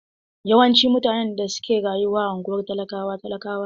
Yawanci mutane da suke rayuwa a unguwar talakawa talakawa ne.